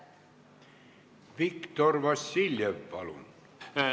Viktor Vassiljev, palun!